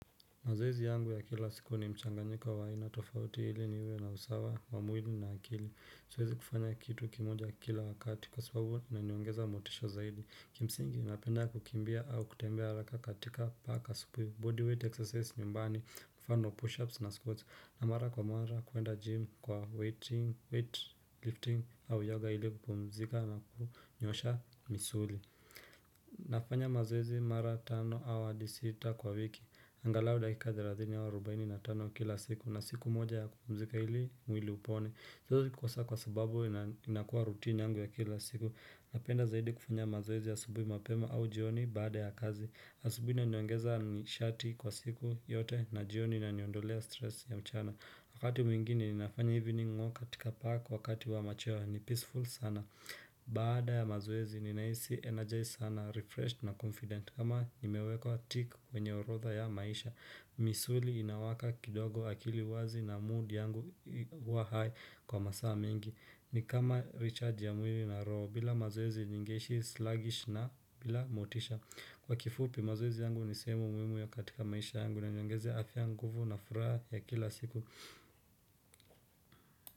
Mazoezi yangu ya kila siku ni mchanganyiko wa aina tofauti ili niwe na usawa wa mwili na akili siwezi kufanya kitu kimoja kila wakati kwa sababu na niongeza motisha zaidi kimsingi unapenda kukimbia au kutembea haraka katika paka supuyo bodyweight exercise nyumbani kufano push ups na squats na mara kwa mara kuenda gym kwa weight lifting au yoga hili kupumzika na kunyosha misuli nafanya mazoezi mara tano au adi sita kwa wiki angalau dakika thelathini au arubaini na tano kila siku na siku moja ya kupumzika ili mwili upone siezi kukosa kwa sababu inakuwa rutini yangu ya kila siku Napenda zaidi kufanya mazoezi ya asubuhi mapema au jioni baada ya kazi asubuhi inaniongeza nishati kwa siku yote na jioni inaniondolea stress ya mchana Wakati mwingine ninafanya hivi ni nimo katika park wakati wa macheo huwa ni peaceful sana Baada ya mazoezi ninahisi energised sana, refreshed na confident kama nimewekwa tick kwenye orodha ya maisha misuli inawaka kidogo akili wazi na mood yangu huwa high kwa masaa mingi ni kama recharge ya mwili na roho bila mazoezi ningeishi sluggish na bila motisha Kwa kifupi mazoezi yangu ni sehemu muhimu ya katika maisha yangu na inaniongezea afya nguvu na furaha ya kila siku.